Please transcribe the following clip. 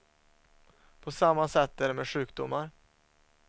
På samma sätt är det med sjukdomar.